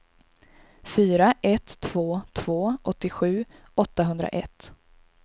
fyra ett två två åttiosju åttahundraett